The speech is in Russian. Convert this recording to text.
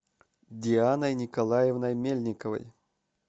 дианой николаевной мельниковой